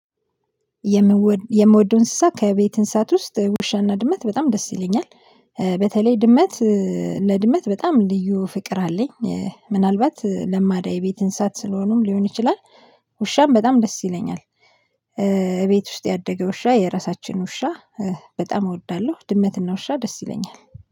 የምወደው እንስሳ ከቤት እንስሳት ውስጥ ውሻና ድመት በጣም ደስ ይለኛል። በተለይ ድመት። ለድመት በጣም ልዩ ፍቅር አለኝ። ምናልባት ለማዳ የቤት እንሳት ስለሆኑም ሊሆን ይችላል። ውሻም በጣም ደስ ይለኛል። እቤት ውስጥ ያደገ ውሻ የራሳችን ውሻ። በጣም እወዳለሁ ድመትና ውሻ ደስ ይለኛል